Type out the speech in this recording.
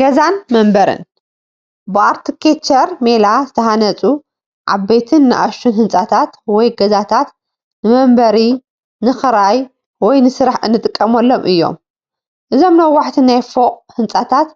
ገዛን መንበርን፡- ብኣርክቴክቸር ሜላ ዝተሃነፁ ዓበይትን ናእሽቱን ህንፃታት ወይ ገዛታት ንመንበሪ ፣ንኽራይ ወይ ንስራሕ እንጥቀመሎም እዮም፡፡ እዞም ነዋሕቲ ናይ ፎቕ ህንፃታት